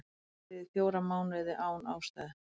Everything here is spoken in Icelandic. Haldið í fjóra mánuði án ástæðu